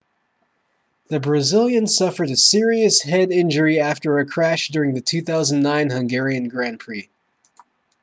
the brazilian suffered a serious head injury after a crash during the 2009 hungarian grand prix